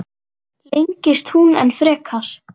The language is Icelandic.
Lengist hún enn frekar?